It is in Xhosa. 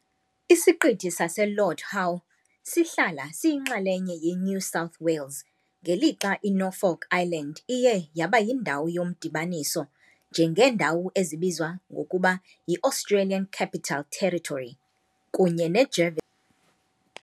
ISiqithi saseLord Howe sihlala siyinxalenye yeNew South Wales, ngelixa iNorfolk Island iye yaba yindawo yomdibaniso, njengeendawo ezibizwa ngokuba yi-Australian Capital Territory kunye neJerv.